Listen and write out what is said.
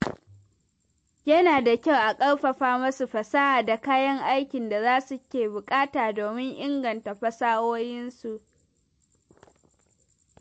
Yana da kyau a ƙarfafa masu fasaha da kayan aikin da su ke buƙata domin inganta fasahohinsu.